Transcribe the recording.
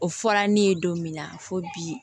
O fɔra ne ye don min na fo bi